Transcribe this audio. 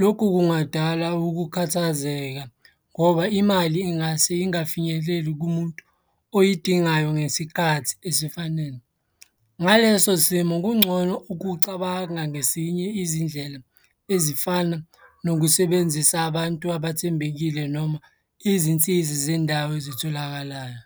Lokhu kungadala ukukhathazeka ngoba imali ingase ingafinyeleli kumuntu oyidingayo ngesikhathi esifanele. Ngaleso simo kungcono ukucabanga ngesinye izindlela ezifana nokusebenzisa abantu abathembekile noma izinsiza zendawo ezitholakalayo.